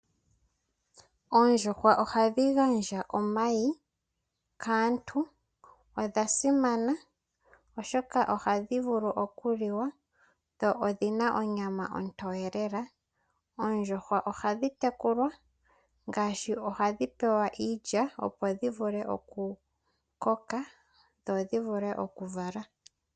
Oondjuhwa ohadhi gandja omayi kaantu. Odha simana oshoka ohadhi vulu oku liwa, dho odhina onyama ontoye lela. Oondjuhwa ohadhi tekulwa ngasshi ohadhi pewa iilya, opo dhi vule oku koka, dho dhi vule oku vala.